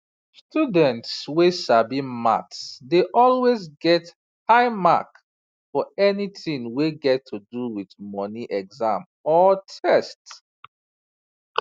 students wey sabi maths dey always get high mark for anything wey get to do with money exam or test